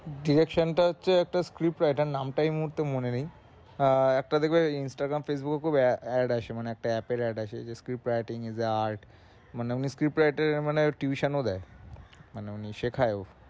direction টা হচ্ছে একটা script ঐটার নামটা এই মূহুর্তে মনে নেই আহ তো দেখবা Instagram Facebook এ খুব add আসে মানে একটা add থেকে add আসে যে script writing is a art মানে ঐ script add এ tuition ও দেয় মানে উনি শেখায়ও